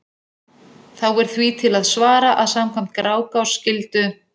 Þá er því til að svara að samkvæmt Grágás skyldu